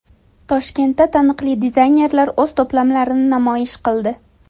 Toshkentda taniqli dizaynerlar o‘z to‘plamlarini namoyish qildi .